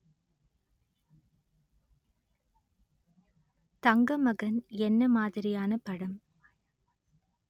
தங்கமகன் என்ன மாதிரியான படம்